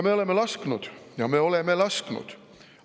Me oleme lasknud – ja me oleme lasknud!